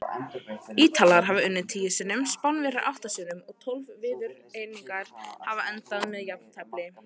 Ítalir hafa unnið tíu sinnum, Spánverjar átta sinnum og tólf viðureignir hafa endað með jafntefli.